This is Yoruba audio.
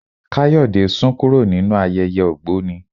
Kayode sún kúrò nínú ayẹyẹ ògbóni.